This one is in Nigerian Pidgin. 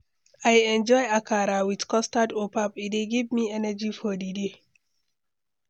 I enjoy akara with custard or pap; e dey give me energy for the day.